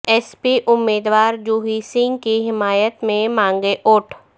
S پی امید وار جوہی سنگھ کی حمایت میں مانگے ووٹ